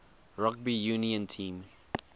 rugby union team